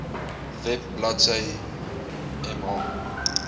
web bladsy mh